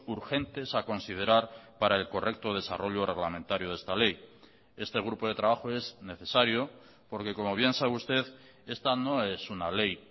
urgentes a considerar para el correcto desarrollo reglamentario de esta ley este grupo de trabajo es necesario porque como bien sabe usted esta no es una ley